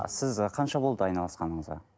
а сіз қанша болды айналысқаныңызға